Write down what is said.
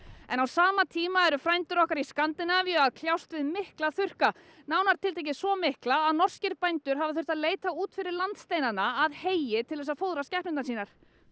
en á sama tíma eru frændur okkar í Skandinavíu að kljást við mikla þurrka nánar tiltekið svo mikla að norskir bændur hafa þurft að leita út fyrir landsteinana að heyi til þess að fóðra skepnurnar sínar